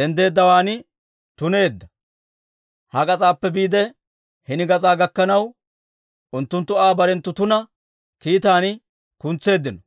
denddeeddawaan tuneedda; ha gas'aappe biide, hini gas'aa gakkanaw, unttunttu Aa barenttu tuna kiitan kuntseeddino.